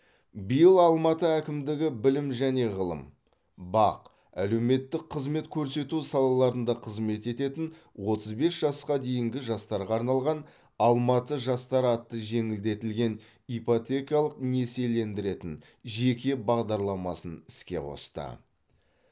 биыл алматы әкімдігі білім және ғылым бақ әлеуметтік қызмет көрсету салаларында қызмет ететін отыз бес жасқа дейінгі жастарға арналған алматы жастары атты жеңілдетілген ипотекалық несиелендіретін жеке бағдарламасын іске қосты